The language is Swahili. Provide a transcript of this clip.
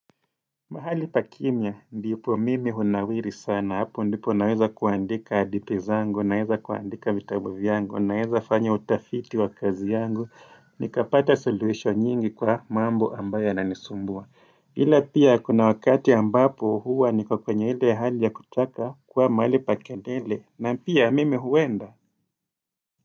Mahali pa kimya, ndipo mimi hunawiri sana, hapo ndipo naweza kuandika hadithi zangu, naweza kuandika vitabu vyangu, naweza fanya utafiti wa kazi yangu, nikapata solution nyingi kwa mambo ambayo yanisumbua. Hila pia kuna wakati ambapo huwa niko kwenye ile hali ya kutaka kuwa mahali pa kelele, na pia mimi huenda.